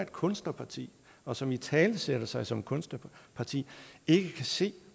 kunstnerparti og som italesætter sig som kunstnerparti ikke kan se